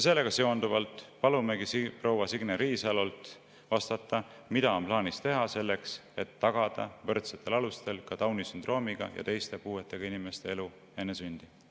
Sellega seonduvalt palumegi proua Signe Riisalol vastata, mida on plaanis teha selleks, et tagada võrdsetel alustel ka Downi sündroomiga ja teiste puuetega inimeste elu enne sündi.